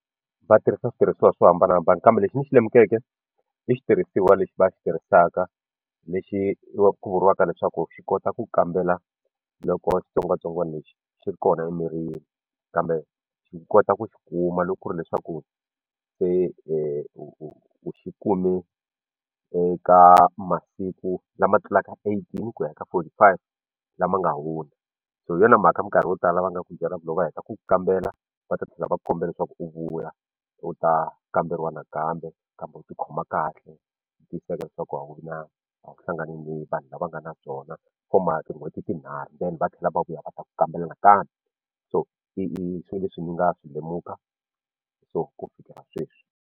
Va tirhisa switirhisiwa swo hambanahambana kambe lexi ni xi lemukeke i xitirhisiwa lexi va xi tirhisaka lexi ku vuriwaka leswaku xi kota ku kambela loko xitsongwatsongwana lexi xi ri kona emirini kambe xi kota ku xi kuma loko ku ri leswaku se u xi kume eka masiku lama tlulaka eighteen ku ya eka forty five lama nga hundza so hi yona mhaka minkarhi yo tala va nga ku byela loko va heta ku kambela va ta tlhela va ku kombela leswaku u vuya u ta kamberiwa nakambe kambe u ti khoma kahle u tiyisisa leswaku a wu vi na a wu hlangani ni vanhu lava nga na byona va ma tin'hweti tinharhu then va tlhela va vuya va ta ku kambela nakambe so i swilo leswi ni nga swi lemuka so ku fikela sweswi.